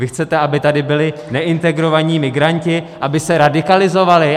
Vy chcete, aby tady byli neintegrovaní migranti, aby se radikalizovali?